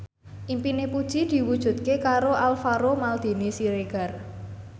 impine Puji diwujudke karo Alvaro Maldini Siregar